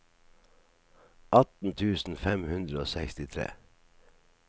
atten tusen fem hundre og sekstitre